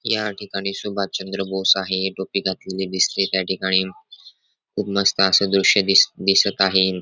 या ठिकाणी सुभासचंद्र बोस आहे टोपी घातलेली दिसते त्या ठिकाणी खूप मस्त अस दृश दिस दिसत आहे.